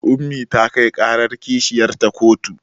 Ummi ta kai ƙarar kishiyarta kotu